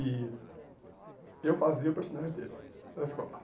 E eu fazia o personagem dele na escola.